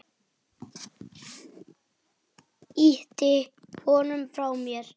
Ýti honum frá mér.